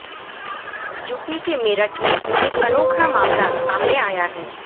UP के मेरठ में एक अनोखा मामला सामने आया हैं